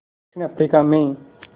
दक्षिण अफ्रीका में